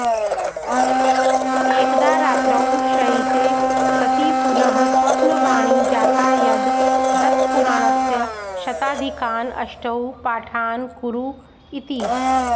एकदा रात्रौ शयिते सति पुनः स्वप्नवाणी जाता यद् दत्तपुराणस्य शताधिकान् अष्टौ पाठान् कुरु इति